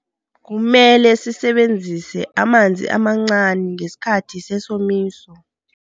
Kumele sisebenzise amanzi amancani ngesikhathi sesomiso.